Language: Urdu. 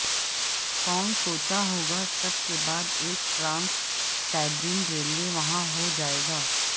کون سوچا ہوگا سب کے بعد ایک ٹرانس سائبیرین ریلوے وہاں ہو جائے گا